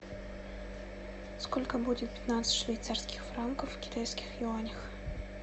сколько будет пятнадцать швейцарских франков в китайских юанях